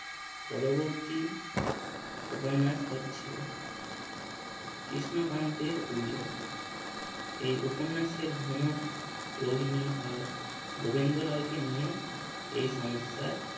পরবর্তী উপন্যাস হচ্ছে কৃষ্ণকান্তের এই উপন্যাসের ভোমর রোহিনী আর গোবিন্দলালকে নিয়ে এই সমস্যার